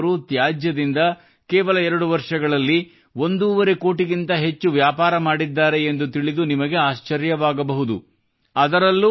ವಿರೇಂದ್ರ ಻ಅವರು ತ್ಯಾಜ್ಯದಿಂದ ಕೇವಲ 2 ವರ್ಷಗಳಲ್ಲಿ ಒಂದೂವರೆ ಕೋಟಿಗಿಂತ ಹೆಚ್ಚು ವ್ಯಾಪಾರ ಮಾಡಿದ್ದಾರೆ ಎಂದು ತಿಳಿದು ನಿಮಗೆ ಆಶ್ಚರ್ಯವಾಗಬಹುದು